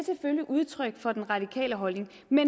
udtryk for den radikale holdning men